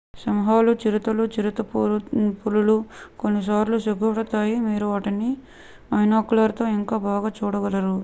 సింహాలు చిరుతలు చిరుతపులులు కొన్నిసార్లు సిగ్గుపడతాయి మీరు వాటిని బైనాక్యులర్స్తో ఇంకా బాగా చూడగలరు